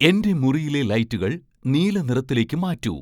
എൻ്റെ മുറിയിലെ ലൈറ്റുകൾ നീല നിറത്തിലേക്ക് മാറ്റൂ